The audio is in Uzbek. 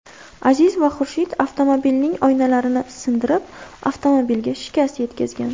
Aziz va Xurshid avtomobilning oynalarini sindirib, avtomobilga shikast yetkazgan.